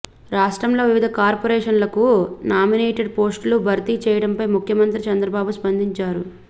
రాష్ట్రంలో వివిధ కార్పొరేషన్లకు నామినేటెడ్ పోస్టులు భర్తీ చేయడంపై ముఖ్యమంత్రి చంద్రబాబు స్పందించారు